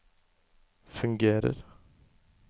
fungerer